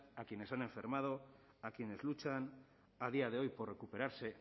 a quienes han enfermado a quienes luchan a día de hoy por recuperarse